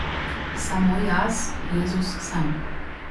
Samo jaz, Jezus, sem.